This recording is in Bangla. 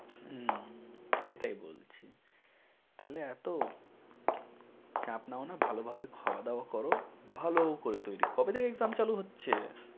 হম এটাই বলছি। তাহলে এত চাপ নানাও ভালোভাবে খাওয়া দাওয়া কর, ভালো করে তৈরী। কবে থেকে exam চালু হচ্ছে?